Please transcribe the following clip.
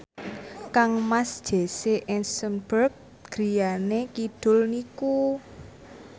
kangmas Jesse Eisenberg griyane kidul niku